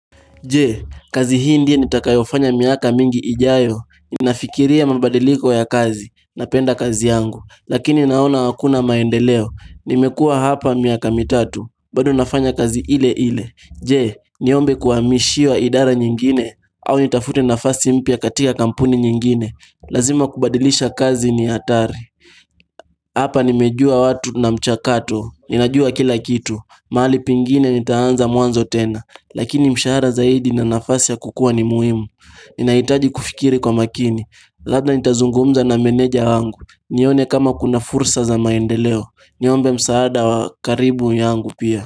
Je, kazi hii ndiyo nitakayofanya miaka mingi ijayo? Ninafikiria mabadiliko ya kazi. Napenda kazi yangu, lakini naona hakuna maendeleo. Nimekuwa hapa miaka mitatu, bado nafanya kazi ileile. Je, niombe kuamishiwa idara nyingine? Au nitafute nafasi mpya katika kampuni nyingine. Lazima kubadilisha kazi ni hatari Hapa nimejua watu na mchakato. Ninajua kila kitu. Mahali pengine nitaanza mwanzo tena. Lakini mshahara zaidi na nafasi ya kukua ni muhimu Ninahitaji kufikiri kwa makini. Labda nitazungumza na meneja wangu, nione kama kuna fursa za maendeleo, niombe msaada wa karibu yangu pia.